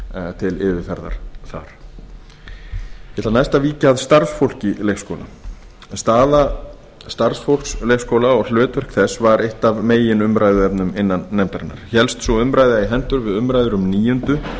yfirferðar þar ég ætla næst að víkja að starfsfólki leikskóla staða starfsfólks leikskóla og hlutverk þess var eitt af meginumræðuefnum innan nefndarinnar hélst sú umræða í hendur við umræður um níunda